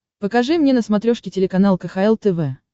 покажи мне на смотрешке телеканал кхл тв